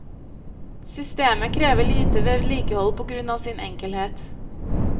Systemet krever lite vedlikehold på grunn av sin enkelhet.